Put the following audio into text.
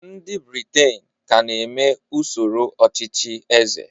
ndị Britain ka na-eme usoro ọchịchị eze